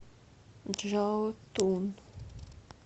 чжаотун